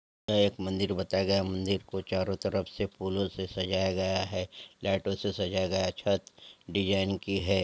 यह एक मंदिर बताया गया है मंदिर को चारों तरफ फूलों से सजाया गया हैं लाइटों से सजाया गया है छत डिज़ाइन की है।